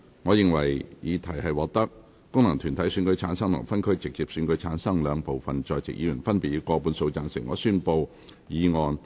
我認為議題獲得經由功能團體選舉產生及分區直接選舉產生的兩部分在席議員，分別以過半數贊成。